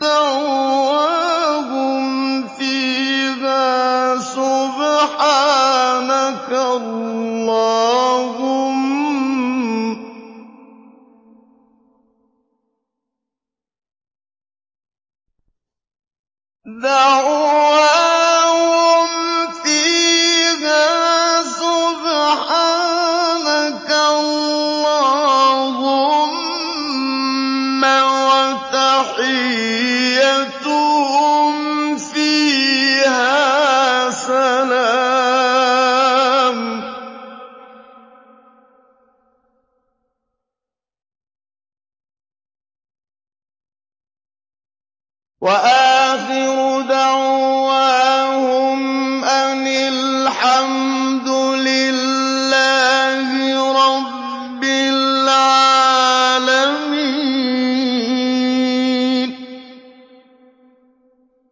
دَعْوَاهُمْ فِيهَا سُبْحَانَكَ اللَّهُمَّ وَتَحِيَّتُهُمْ فِيهَا سَلَامٌ ۚ وَآخِرُ دَعْوَاهُمْ أَنِ الْحَمْدُ لِلَّهِ رَبِّ الْعَالَمِينَ